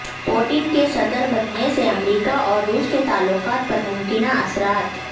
Putin کے صدر بننے سے امریکہ اور روس کے تعلقات پر ممکنہ اثرات